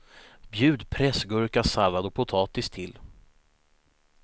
Bjud pressgurka, sallad och potatis till.